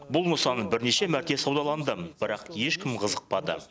бұл нысан бірнеше мәрте саудаланды бірақ ешкім қызықпады